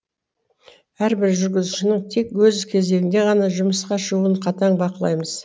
әрбір жүргізушінің тек өз кезегінде ғана жұмысқа шығуын қатаң бақылаймыз